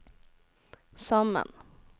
sammen